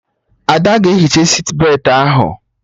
Ada ga-ehicha sitbetị ahụ